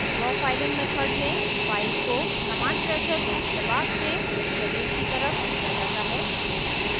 draw filing method में file को समान प्रेशर यानी दबाव से शरीर की तरफ खींचा जाता है